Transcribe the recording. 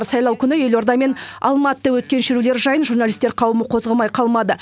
сайлау күні елорда мен алматыда өткен шерулер жайын журналистер қауымы қозғамай қалмады